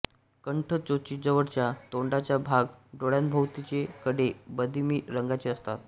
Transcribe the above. कंठ चोचीजवळचा तोंडाचा भाग डोळ्यांभोवतीचे कडे बदिमी रंगाचे असतात